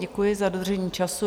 Děkuji za dodržení času.